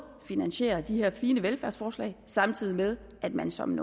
finansiere de her fine velfærdsforslag samtidig med at man som